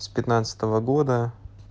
с пятнадцатого года